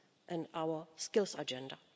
and our Skills Agenda.